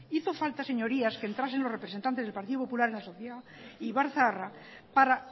hico falta señorías que entrasen los representantes del partido popular en la sociedad ibarzaharra para